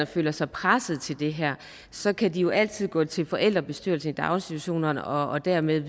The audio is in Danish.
føler sig presset til det her så kan de jo altid gå til forældrebestyrelserne i daginstitutionerne og dermed